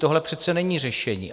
Tohle přece není řešení.